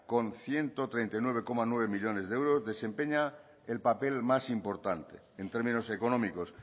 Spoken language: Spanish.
con ciento treinta y nueve coma nueve millónes de euros desempeña el papel más importante en términos económicos